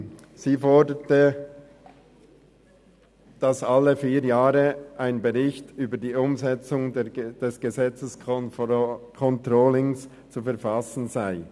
Sie forderte, dass alle vier Jahre ein Bericht über die Umsetzung des Gesetzescontrollings zu verfassen sei.